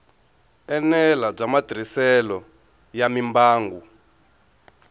enela bya matirhiselo ya mimbangu